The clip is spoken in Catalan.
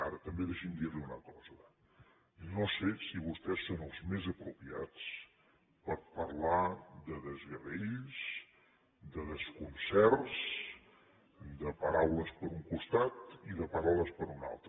ara també deixi’m dir li una cosa no sé si vostès són els més apropiats per parlar de desgavells de desconcerts de paraules per un costat i de paraules per un altre